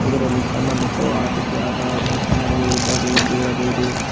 ಇದರಲ್ಲಿ ಸಣ್ಣ ಮಕ್ಕಳು ಆಟಿಕೆ ಆಡುವ ಸಾಮಾನುಗಳು ಇದ್ದಾವೆ ಎಂದು ಹೇಳಬಹುದು.